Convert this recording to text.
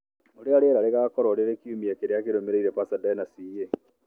ũrĩa rĩera rĩgaakorũo rĩrĩ kiumia kĩrĩa kĩrũmĩrĩire Pasadena, CA